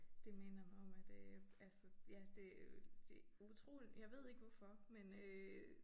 Det minder mig om at øh altså ja det øh det utroligt jeg ved ikke hvorfor men øh